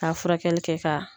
Taa furakɛli kɛ ka